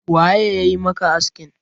waye ya yi maka askin?